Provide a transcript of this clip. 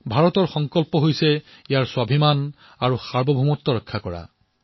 ভাৰতৰ সংকল্প এয়াই যে ভাৰতৰ স্বাভিমান আৰু সাৰ্বভৌমত্ব ৰক্ষা কৰা